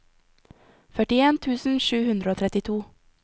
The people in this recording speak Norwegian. førtien tusen sju hundre og trettito